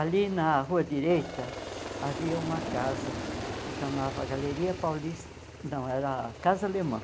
Ali na rua direita, havia uma casa, chamava Galeria Paulista, não, era Casa Alemã.